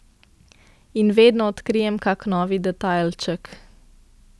In vedno odkrijem kak novi detajlček.